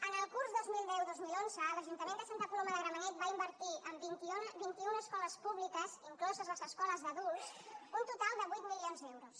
en el curs dos mil deu dos mil onze l’ajuntament de santa coloma de gramenet va invertir en vint i una escoles públiques incloses les escoles d’adultes un total de vuit milions d’euros